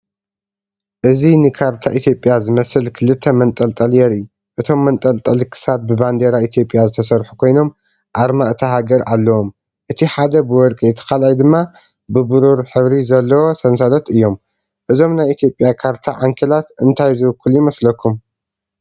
እዚ ንካርታ ኢትዮጵያ ዝመስል ክልተ መንጠልጠሊ የርኢ። እቶም መንጠልጠሊ ክሳድ ብባንዴራ ኢትዮጵያ ዝተሰርሑ ኮይኖም ኣርማ እታ ሃገር ኣለዎም። እቲ ሓደ ብወርቂ እቲ ካልኣይ ድማ ብብሩር ሕብሪ ዘለዎ ሰንሰለት እዩም። እዞም ናይ ኢትዮጵያ ካርታ ዓንኬላት እንታይ ዝውክሉ ይመስለኩም?